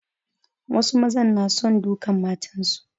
Wasu maza na son dukan matansu.